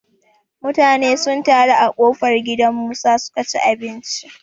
Mutane sun taro a ƙofar gidan Musa su ka ci abinci.